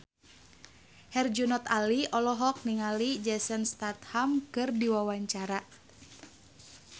Herjunot Ali olohok ningali Jason Statham keur diwawancara